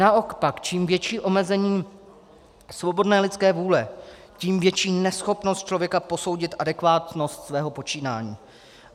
Naopak, čím větší omezení svobodné lidské vůle, tím větší neschopnost člověka posoudit adekvátnost svého počínání.